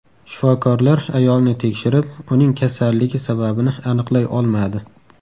Shifokorlar ayolni tekshirib, uning kasalligi sababini aniqlay olmadi.